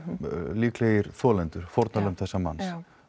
líklegir þolendur fórnarlömb þessa manns